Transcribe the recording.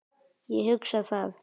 Ég hugsa það.